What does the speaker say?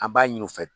An b'a ɲini u fɛ